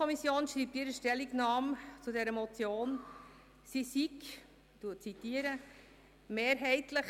Die FiKo schreibt in ihrer Stellungnahme zu dieser Motion, sie sei, ich zitiere, «[…